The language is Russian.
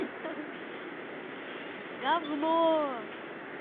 говно